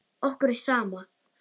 Okkur er sama.